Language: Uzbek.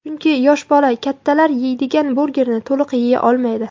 Chunki, yosh bola kattalar yeydigan burgerni to‘liq yeya olmaydi.